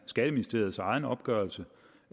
skatteministeriets egen opgørelse